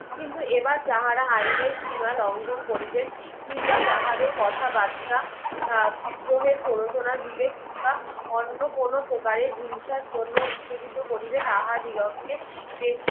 কিন্তু এবার যাহারা আইয়ের শিমা লঙ্ঘন করিবেন কিংবা যাহাদের কথা বার্তা বেদ্রোহের প্ররোচনার বিবেক কিংবা অন্য কোনো প্রকারে হিংসার জন্য উত্তেজিত করিবে তাহা দিগককে